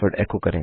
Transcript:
एको करें